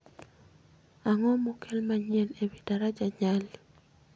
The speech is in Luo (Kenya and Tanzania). Ang'o ma okel manyien ewi daraja Nyali